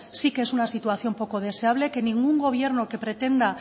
sí que es una situación poco deseable que ningún gobierno que pretenda